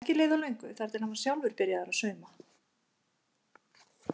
Ekki leið á löngu þar til hann var sjálfur byrjaður að sauma.